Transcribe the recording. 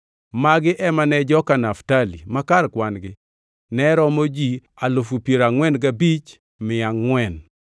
Magi ema ne joka Naftali; ma kar kwan-gi ne romo ji alufu piero angʼwen gabich mia angʼwen (45,400).